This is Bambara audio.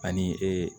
Ani ee